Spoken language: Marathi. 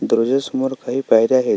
दरवाजा समोर काही पायऱ्या आहेत.